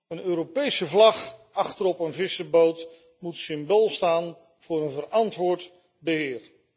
Een Europese vlag achterop een vissersboot moet symbool staan voor een verantwoord beheer.